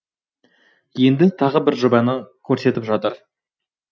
енді тағы бір жобаны көрсетіп жатыр